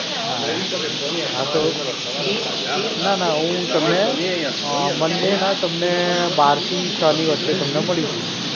હા, આ તો, ના ના હું તમને monday ના તમને બાર થી છની વચ્ચે તમને મળી જઈશ.